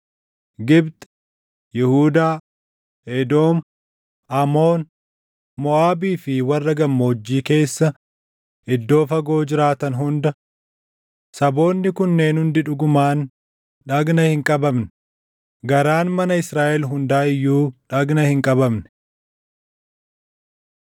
Gibxi, Yihuudaa, Edoom, Amoon, Moʼaabii fi warra gammoojjii keessa iddoo fagoo jiraatan hunda. Saboonni kunneen hundi dhugumaan dhagna hin qabamne; garaan mana Israaʼel hundaa iyyuu dhagna hin qabamne.”